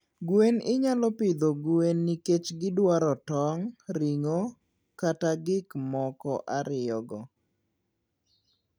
Gwen inyalo pidho gwen nikech gidwaro tong', ring'o, kata gik moko ariyogo.